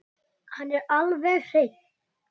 Hann er alveg hreinn.